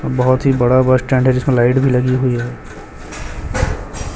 बहोत ही बड़ा बस स्टैंड है जिसमें लाइट भी लगी हुई है।